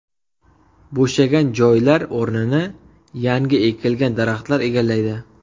Bo‘shagan joylar o‘rnini yangi ekilgan daraxtlar egallaydi.